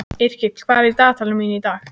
Yrkill, hvað er í dagatalinu mínu í dag?